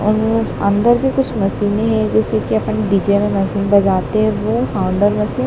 और उस अंदर भी कुछ मशीनें हैं जैसे कि अपन डी_जे में मशीन बजाते हैं वो साउंडर मशीन --